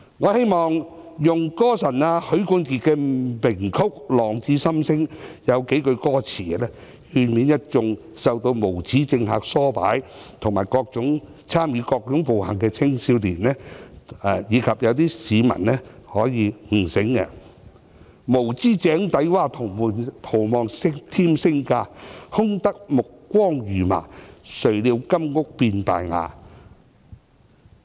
我希望用"歌神"許冠傑的名曲"浪子心聲"中數句歌詞，勸勉一眾受到無耻政客唆擺及參與各種暴行的青少年，以及令一些市民可以悟醒："無知井裏蛙，徒望添聲價，空得意目光如麻，誰料金屋變敗瓦"。